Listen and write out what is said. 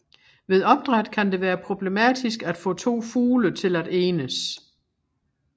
Ved opdræt kan det være problematisk at få to fugle til at enes